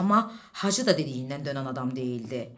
Amma Hacı da dediyindən dönən adam deyildi.